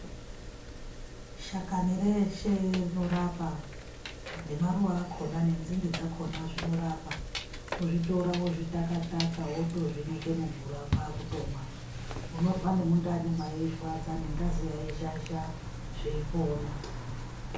Shakani reshe rinorapa nemaruwa ese nendimde dzese dzinorapa kuzvitora wozvitaka taka wotozvinyika mumvura kwakumwa Munizwa nemundani meirwadza ngengazi yeizhazha zveipona.